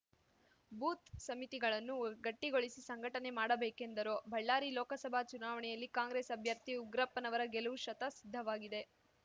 booth ಸಮಿತಿಗಳನ್ನು ಗಟ್ಟಿಗೊಳಿಸಿ ಸಂಘಟನೆ ಮಾಡಬೇಕೆಂದರು ಬಳ್ಳಾರಿ ಲೋಕಸಭಾ ಚುನಾವಣೆಯಲ್ಲಿ ಕಾಂಗ್ರೆಸ್‌ ಅಭ್ಯರ್ಥಿ ಉಗ್ರಪ್ಪನವರ ಗೆಲುವು ಶತ ಸಿದ್ಧವಾಗಿದೆ